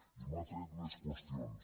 i m’ha tret més qüestions